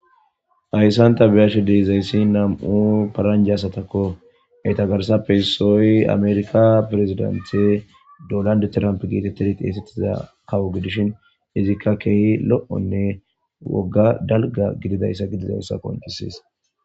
Hayssan ta be7ashe dizayssinam77u paaranjje asatakko.eta garssappe issoy amerkka peresdantte dolandi tiramppe geetettiza kawo gidishin izikka keehi lo7onne wogga keehi dalga gididayssa qonccisees.